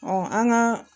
an ka